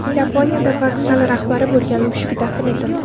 Yaponiyada vokzal rahbari bo‘lgan mushuk dafn etildi.